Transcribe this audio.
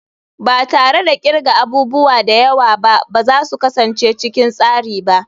Ba tare da kirga abubuwa da yawa ba ba za su kasance cikin tsari ba.